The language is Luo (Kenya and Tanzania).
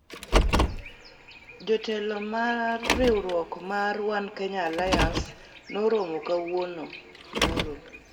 Jotelo mar riwruok mar One Kenya Alliance noromo kawuono (nyoro)